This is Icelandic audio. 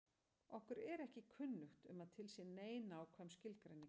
Okkur er ekki kunnugt um að til sé nein nákvæm skilgreining á þessu.